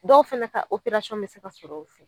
Dɔw fɛnɛ ka bɛ se ka sɔr'ɔ fɛ.